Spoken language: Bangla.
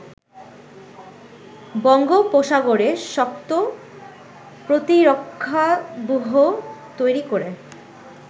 বঙ্গোপসাগরে শক্ত প্রতিরক্ষাব্যূহ তৈরি করে